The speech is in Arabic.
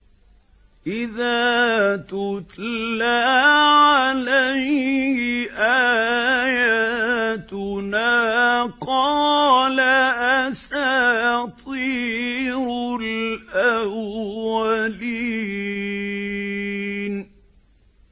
إِذَا تُتْلَىٰ عَلَيْهِ آيَاتُنَا قَالَ أَسَاطِيرُ الْأَوَّلِينَ